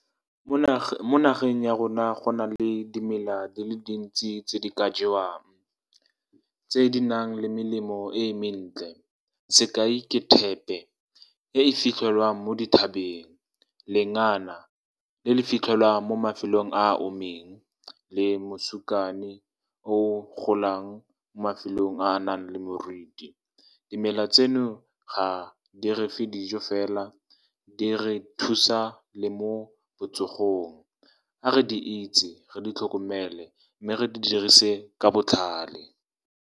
Mo nageng ya rona, go na le dimela di le dintsi tse di ka jewang tse di nang le melemo e mentle. Sekai, ke thepe e e fitlhelwang mo dithabeng, lengana le le fitlhelwang mo mafelong a omileng, le mosukane o o golang mo mafelong a a nang le moriti. Dimela tseno ga di refe dijo fela, di re thusa le mo botsogong. A re di itse, re di tlhokomele, mme re di dirise ka botlhale.